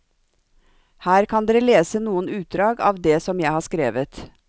Her kan dere lese noen utdrag av det som jeg har skrevet.